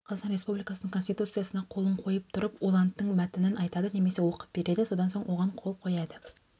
қазақстан республикасының конституциясына қолын қойып тұрып ол анттың мәтінін айтады немесе оқып береді содан соң оған қол қояды